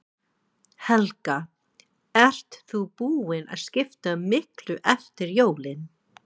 Helga: Ert þú búin að skipta miklu eftir jólin?